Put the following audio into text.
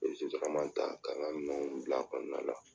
N ye sotarama ta ka n ka minɛw bila kɔnɔna la